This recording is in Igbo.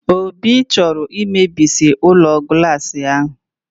Obi chọrọ imebisi ụlọ glaasị ahụ!